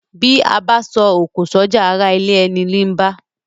Bí abá so òkò sójà arà ilé eni ní bá